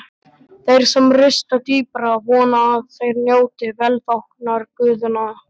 Þeir sem rista dýpra vona að þeir njóti velþóknunar guðanna.